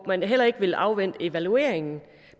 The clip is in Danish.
man heller ikke vil afvente evalueringen